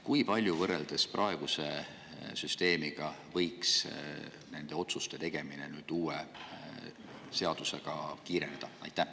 Kui palju, võrreldes praeguse süsteemiga, võiks nende otsuste tegemine nüüd uue seadusega kiireneda?